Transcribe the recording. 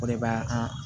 O de b'a an